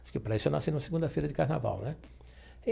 Acho que, para isso, eu nasci na segunda-feira de carnaval né.